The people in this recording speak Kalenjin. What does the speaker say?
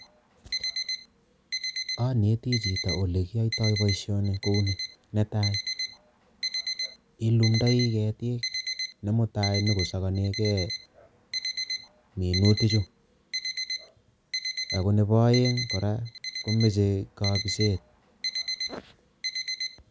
Aneti chito ole kiyaitoi boisioni kou ni, Netai ilundoi keetik ne mutai kosakanegei minutichu ak ako nebo aeng kora komoche kabiset.